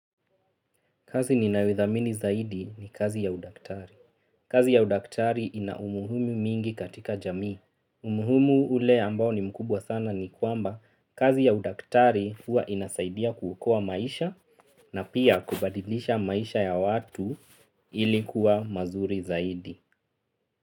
Kazi ninayo thamini zaidi ni kazi ya udaktari. Kazi ya udaktari ina umuhumu mwingi katika jamii. Umuhumu ule ambao ni mkubwa sana ni kwamba kazi ya udaktari huwa inasaidia kuokoa maisha na pia kubadilisha maisha ya watu. Ilikuwa mazuri zaidi.